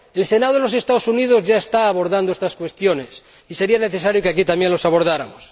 El Senado de los Estados Unidos ya está abordando estas cuestiones y sería necesario que aquí también las abordáramos.